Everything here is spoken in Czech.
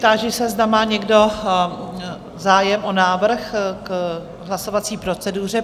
Táži se, zda má někdo zájem o návrh k hlasovací proceduře.